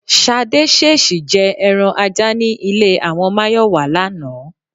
S̩adé s̩ès̩ì je̩ e̩ran ajá ní ilé àwo̩n Máyò̩wá lánàá